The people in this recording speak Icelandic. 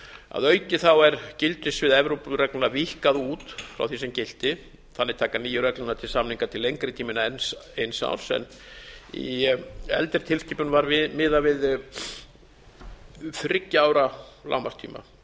að auki er gildissvið evrópureglna víkkað út frá því sem gilti þannig taka nýju reglurnar til samninga til lengri tíma en eins árs en í eldri tilskipun var miðað við þriggja ára lágmarkstíma